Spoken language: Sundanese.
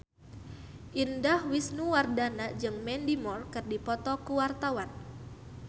Indah Wisnuwardana jeung Mandy Moore keur dipoto ku wartawan